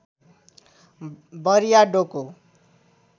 बरिया डोको